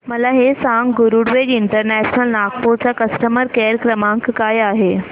मला हे सांग गरुडवेग इंटरनॅशनल नागपूर चा कस्टमर केअर क्रमांक काय आहे